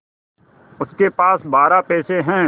उसके पास बारह पैसे हैं